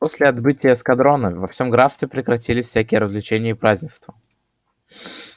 после отбытия эскадрона во всем графстве прекратились всякие развлечения и празднества